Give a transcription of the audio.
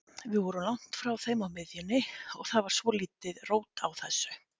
Við vorum langt frá þeim á miðjunni og það var svolítið rót á þessu.